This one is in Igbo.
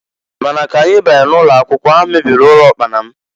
Ma na k'anyị banyere n'ụlọakwụkwọ, ha mebiri ụlọ ụkpana m.